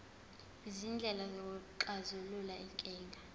izindlela zokuxazulula izinkinga